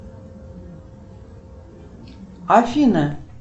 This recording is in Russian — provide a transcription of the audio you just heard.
афина